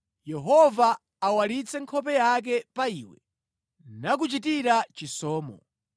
Yehova awalitse nkhope yake pa iwe, nakuchitira chisomo;